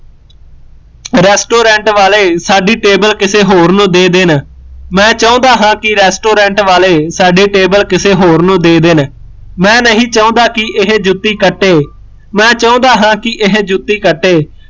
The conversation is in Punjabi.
resturent ਵਾਲੇ ਸਾਡੀ table ਕਿਸੇ ਹੋਰ ਨੂੰ ਦੇ ਦੇਣ ਮੈਂ ਚਾਹੁੰਦਾ ਹਾਂ ਕਿ restaurant ਵਾਲੇ ਸਾਡੀ table ਕਿਸੇ ਹੋਰ ਨੂੰ ਦੇ ਦੇਣ ਮੈਂ ਨਹੀਂ ਚਾਹੁੰਦਾ ਕਿ ਇਹ ਜੁੱਤੀ ਕੱਟੇ ਮੈਂ ਚਾਹੁੰਦਾ ਹੈ ਕਿ ਇਹ ਜੁੱਤੀ ਕੱਟੇ